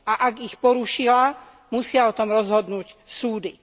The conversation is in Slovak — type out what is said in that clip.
A ak ich porušila, musia o tom rozhodnúť súdy.